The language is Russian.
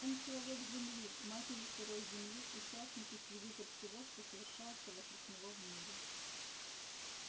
он человек земли матери сырой земли участник и свидетель всего что совершается вокруг него в мире